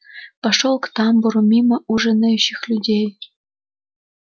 пошёл к тамбуру мимо ужинающих людей